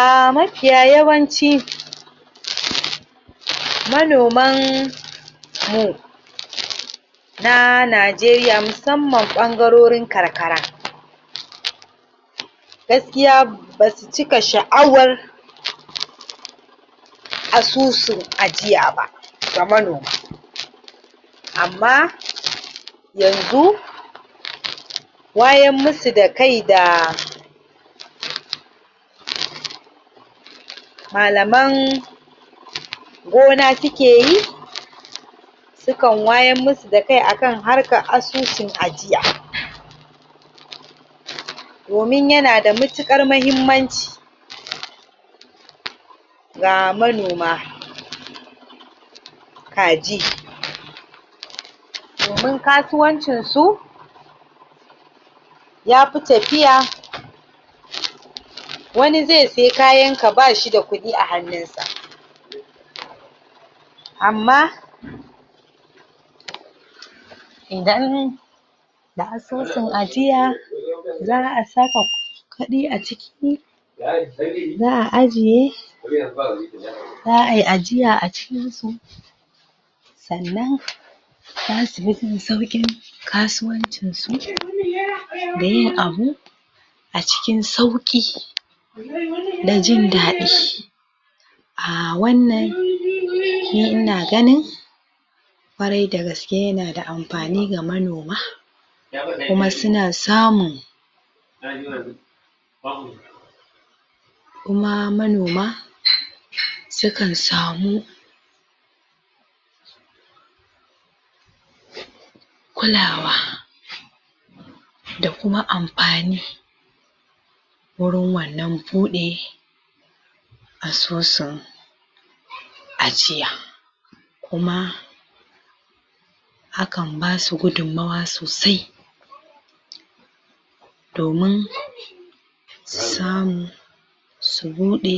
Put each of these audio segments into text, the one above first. um mapiya yawanci manoman mu na Najeriya musamman ɓangarorin karkara gaskiya basu cika sha'awar asusun ajiya ba ga manoma amma yanzu wayan musu da kai da malaman gona sukeyi su kan wayar musu da kai akan harkar asusun ajiya domin yana da matuƙar muhimmanci ga manoma kaji domin kasuwancinsu yapi tapiya wani zai sai kayanka bashi da kuɗi a hannunsa amma idan da susun ajiya za'a saka ku kuɗi a ciki za'a ajiye za'ayi ajiya a cikinsu sannan zasu bi sun sauƙin kasuwancin su da yin abu a cikin sauƙi da jin daɗi um wannan ni ina ganin ƙwarai dagaske yana da ampani ga manoma kuma suna samun kuma manoma su kan samu kulawa da kuma ampani wurin wannan buɗe asusun ajiya kuma akan basu gudunmuwa sosai domin samun su buɗe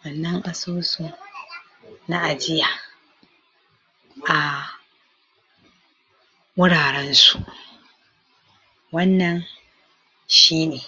wannan asusu na ajiya um wurarensu wannan shine.